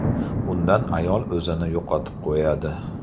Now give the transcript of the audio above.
Bundan ayol o‘zini yo‘qotib qo‘yadi.